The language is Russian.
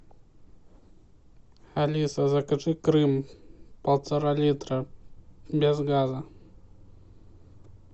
алиса закажи крым полтора литра без газа